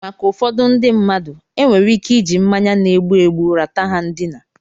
Maka ụfọdụ ndị mmadụ, enwere ike iji mmanya na-egbu egbu ra ta ha ndina.